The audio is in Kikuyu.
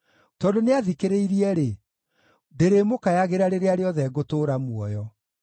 Tondũ nĩathikĩrĩirie-rĩ, ndĩrĩmũkayagĩra rĩrĩa rĩothe ngũtũũra muoyo.